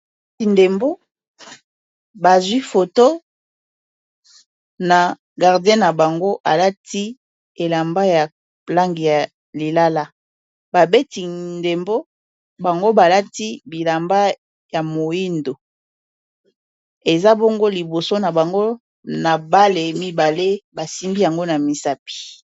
Ndembo bazwi foto na gardien na bango alati elamba ya langi ya lilala babeti ndembo bango balati bilamba ya moyindo eza bongo liboso na bango na bale mibale basimbi yango na misapi.